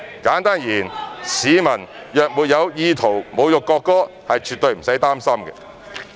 簡單而言，市民若沒有意圖侮辱國歌，是絕對不用擔心。